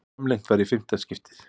Framlengt í fimmta skiptið